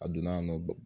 A donna yan nɔ